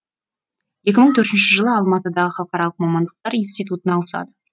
екі мың төртінші жылы алматыдағы халықаралық мамандықтар институтына ауысады